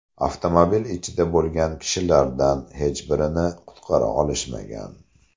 Avtomobil ichida bo‘lgan kishilardan hech birini qutqara olishmagan.